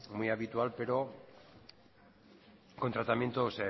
muy habitual pero con tratamientos